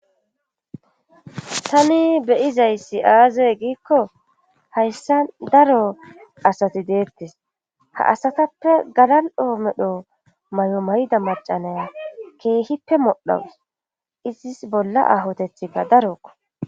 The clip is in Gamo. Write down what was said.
tani beyizayssi aazay giikko hayssa daro asati deettes ha asatappe galaldhoo medho may7o mayida macanaya keehippe modhaus izis bolla ahotethikka darokko